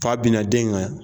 Fa bina den kan yan